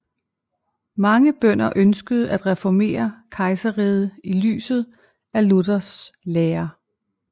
Mange bønder ønskede at reformere kejserriget i lyset af Luthers lære